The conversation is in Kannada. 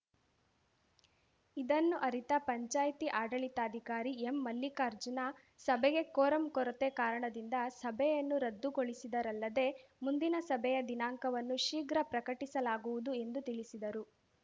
ಇದನ್ನು ಅರಿತ ಪಂಚಾಯ್ತಿ ಆಡಳಿತಾಧಿಕಾರಿ ಎಂಮಲ್ಲಿಕಾರ್ಜುನ ಸಭೆಗೆ ಕೋರಂ ಕೊರತೆ ಕಾರಣದಿಂದ ಸಭೆಯನ್ನು ರದ್ದುಗೊಳಿಸಿದರಲ್ಲದೆ ಮುಂದಿನ ಸಭೆಯ ದಿನಾಂಕವನ್ನು ಶೀಘ್ರ ಪ್ರಕಟಿಸಲಾಗುವುದು ಎಂದು ತಿಳಿಸಿದರು